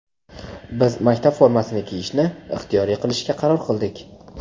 biz maktab formasini kiyishni ixtiyoriy qilishga qaror qildik.